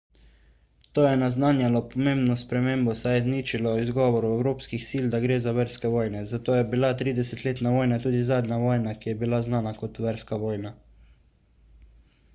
to je naznanjalo pomembno spremembo saj je izničilo izgovor evropskih sil da gre za verske vojne zato je bila tridesetletna vojna tudi zadnja vojna ki je bila znana kot verska vojna